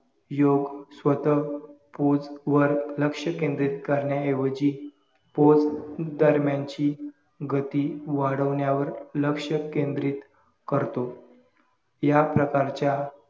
योग्य स्वतः pose वर लक्ष्य केंद्रित करणे ऐवजी pose दरम्यानची गती वाढवण्यावर लक्ष्य केंद्रित करतो, या प्रकारच्या